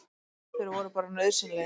Þeir voru bara nauðsynlegir.